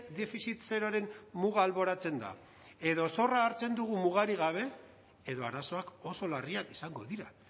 defizit zeroren muga alboratzen da edo zorra hartzen dugu mugarik gabe edo arazoak oso larriak izango dira